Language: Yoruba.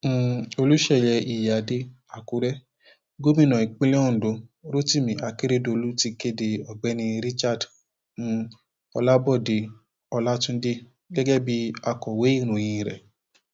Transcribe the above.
um olùṣeyẹ iyíáde àkúrẹ gómìnà ìpínlẹ ondo rotimi akérẹdọlù ti kéde ọgbẹni richard um olabode ọlàtúndé gẹgẹ bíi akọwé ìròyìn rẹ